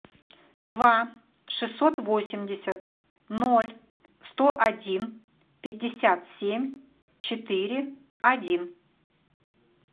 два шестьсот восемьдесят ноль сто один пятьдесят семь четыре один